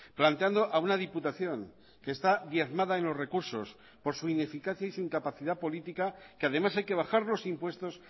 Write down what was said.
planteando a una diputación que está diezmada en los recursos por su ineficacia y su incapacidad política que además hay que bajar los impuestos